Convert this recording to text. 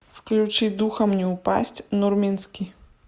включи духом не упасть нурминский